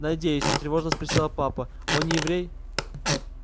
надеюсь тревожно спросила папа он не еврей